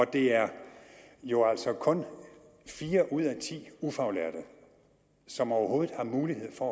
det er jo altså kun fire ud af ti ufaglærte som overhovedet har mulighed for